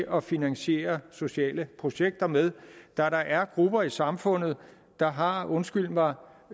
at finansiere sociale projekter med da der er grupper i samfundet der har undskyld mig